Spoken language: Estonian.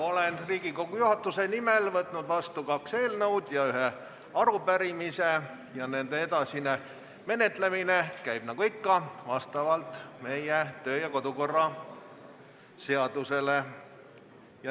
Olen Riigikogu juhatuse nimel võtnud vastu kaks eelnõu ja ühe arupärimise ning nende edasine menetlemine käib vastavalt meie kodu- ja töökorra seadusele.